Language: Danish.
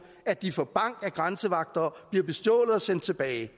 at de får bank af grænsevagter bliver bestjålet og sendt tilbage